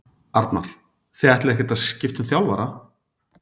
Arnar: Þið ætlið ekkert að skipta um þjálfara?